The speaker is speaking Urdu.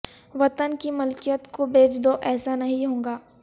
وطن کی ملکیت کو بیچ دو ایسا نہیں ہوگا